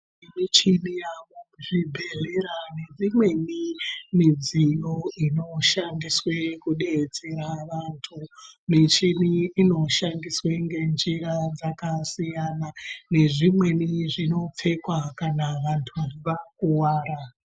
Michini yaamo muzvibhedhlera neimweni midziyo inoshandiswe kudetsera vantu. Michini iyi inoshandiswa ngenjira dzakasiyana nezvimweni zvinopfekwa kana vantu vakuwara.